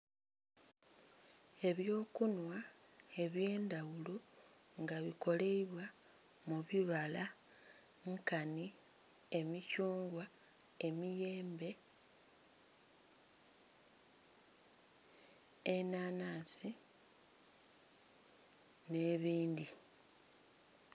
Ebyo kunhwa ebye ndhaghulo nga bikoleibwa mu bibala nkanhi emithungwa, emiyembe, enhanhansi nhe bindhi.